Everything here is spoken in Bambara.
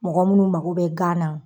Mɔgɔ munnu mago bɛ gan na